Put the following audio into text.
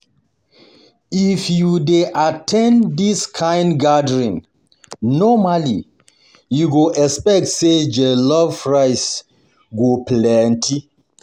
If you dey at ten d this kind gathering, normally, you go expect say jollof rice go plenty.